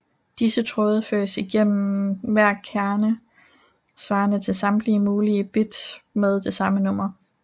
Disse tråde føres igennem hver kerne svarende til samtlige mulige bit med det samme nummer